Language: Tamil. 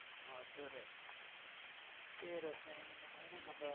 மதுரை. சரி ரோஷினி இந்த மாதிரி